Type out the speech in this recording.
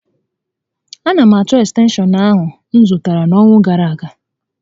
A na m achọ ekstenshọn m zụtara n'ọnwa gàrà aga